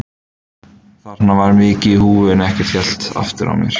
Þarna var mikið í húfi en ekkert hélt aftur af mér.